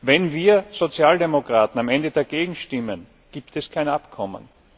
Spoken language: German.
Wenn wir Sozialdemokraten am Ende dagegen stimmen, gibt es kein Abkommen.